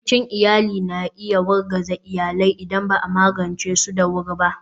Rikicin iyali na iya wargaza iyalai idan ba a magance su da wuri ba.